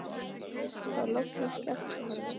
Þá loksins sleppti hann henni.